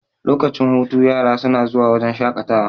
lokacin hutu yara suna zuwa wajen shaƙatawa